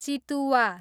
चितुवा